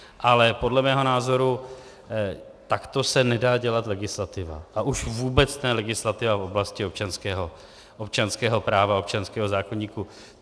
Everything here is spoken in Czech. Ale podle mého názoru takto se nedá dělat legislativa a už vůbec ne legislativa v oblasti občanského práva a občanského zákoníku.